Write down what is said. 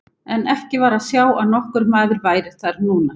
En ekki var að sjá að nokkur maður væri þar núna.